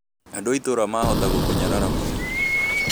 Andũ a itũra mahota gũkũnyarara mũno